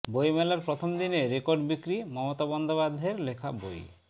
বইমেলার প্রথম দিনেই রেকর্ড বিক্রি মমতা বন্দ্যোপাধ্যায়ের লেখা বই